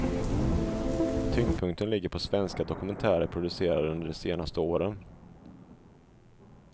Tyngdpunkten ligger på svenska dokumentärer producerade under de senaste åren.